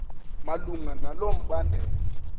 malunga nalo mbandela